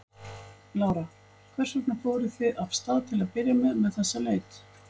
Lára: Hvers vegna fóruð þið af stað til að byrja með með þessa leit?